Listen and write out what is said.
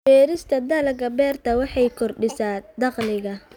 Beerista dalagyada beerta waxay kordhisaa dakhliga.